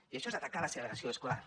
i això és atacar la segregació escolar